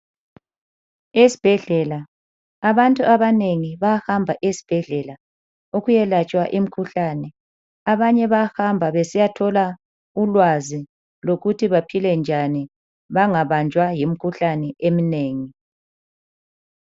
Esibhedlela abantu abanengi bayahamba esibhedlela ukuyelatshwa imikhuhlane. Abanye bayahamba besiyathola ulwazi lokuthi baphile njani bangabanjwa yimikhuhlane eminengi.